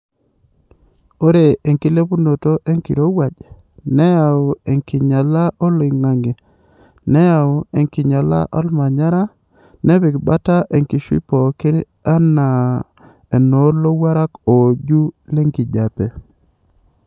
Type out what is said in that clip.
Ore enkilepunoto enkirowuaj, nayau enkinyalata olingange, neyau enkinyala olmanyara nepik bata enkishui pooki anaa enoo lowurak ooju lenkijiepe